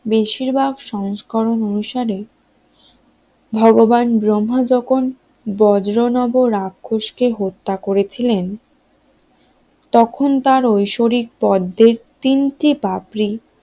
বেশিরভাগ সংস্করণ অনুসারে ভগবান ব্রহ্মা যখন বজ্র নব রাক্ষস কে হত্যা করেছিলেন তখন তার ঐশ্বরিক পদ্মের তিনটি পাপড়ি